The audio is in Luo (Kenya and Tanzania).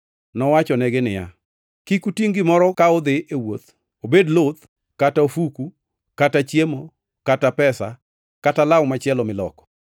Nowachonegi niya, “Kik utingʼ gimoro ka udhi e wuoth obed luth kata ofuku kata chiemo, kata pesa, kata law machielo miloko.